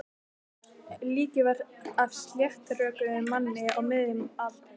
Líkið var af sléttrökuðum manni á miðjum aldri.